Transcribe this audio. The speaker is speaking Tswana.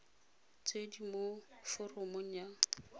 tse di mo foromong ya